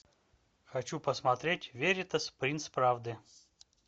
хочу посмотреть веритас принц правды